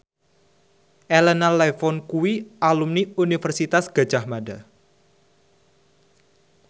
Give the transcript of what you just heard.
Elena Levon kuwi alumni Universitas Gadjah Mada